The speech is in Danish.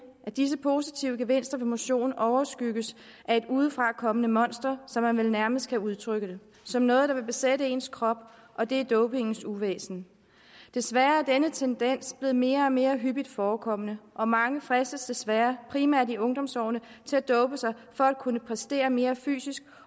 at disse positive gevinster ved motion overskygges af et udefrakommende monster som man vel nærmest kan udtrykke det som noget der vil besætte ens krop og det er dopingens uvæsen desværre er denne tendens blevet mere og mere hyppigt forekommende og mange fristes desværre primært i ungdomsårene til at dope sig for at kunne præstere mere fysisk